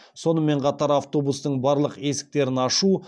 сонымен қатар автобустың барлық есіктерін ашу